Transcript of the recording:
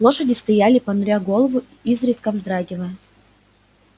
лошади стояли понуря голову изредка вздрагивая